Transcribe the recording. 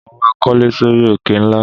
Mo máa kólé sórí òkè ńlá.